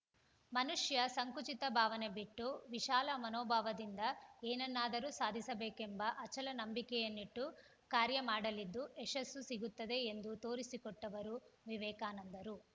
ಮನುಷ್ಯ ಸಂಕುಚಿತ ಭಾವನೆ ಬಿಟ್ಟು ವಿಶಾಲ ಮನೋಭಾವದಿಂದ ಏನನ್ನಾದರೂ ಸಾಧಿಸಬೇಕೆಂಬ ಅಚಲ ನಂಬಿಕೆಯನ್ನಿಟ್ಟು ಕಾರ್ಯ ಮಾಡಲಿದ್ದು ಯಶಸ್ಸು ಸಿಗುತ್ತದೆ ಎಂದು ತೋರಿಸಿ ಕೊಟ್ಟವರು ವಿವೇಕಾನಂದರು